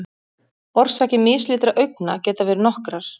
Orsakir mislitra augna geta verið nokkrar.